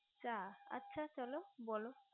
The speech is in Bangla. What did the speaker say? চা আচ্ছা চলো বোলো